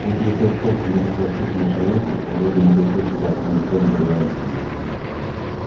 будь вы хоть сколько-нибудь воспитанным человеком вы бы не пришли сюда и не стали бы говорить со мной